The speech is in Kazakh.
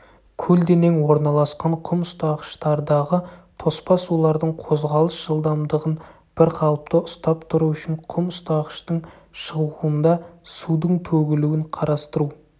көлденең орналасқан құм ұстағыштардағы тоспа сулардың қозғалыс жылдамдығын бірқалыпты ұстап тұру үшін құм ұстағыштың шығуында судың төгілуін қарастыру